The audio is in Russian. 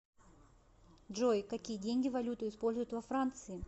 джой какие деньги валюту используют во франции